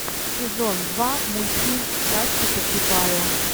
сезон два мультфильм страсти по чапаю